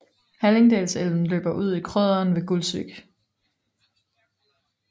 Hallingdalselven løber ude i Krøderen ved Gulsvik